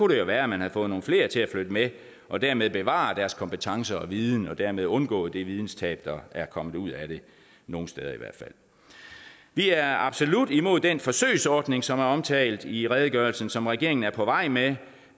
det jo være at man havde fået nogle flere til at flytte med og dermed bevaret deres kompetence og viden og dermed undgået det videnstab der er kommet ud af det nogle steder i hvert fald vi er absolut imod den forsøgsordning som er omtalt i redegørelsen som regeringen er på vej med